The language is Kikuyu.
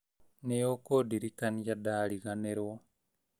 Nĩũkũndirikania ndariganĩrũo